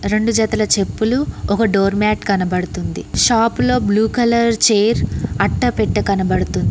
రెండు జతలు చెప్పులు ఒక డోర్ మ్యాట్ కనపడుతుంది షాపులో బ్లూ కలర్ చైర్ అట్టపెట్ట కనపడుతుంది.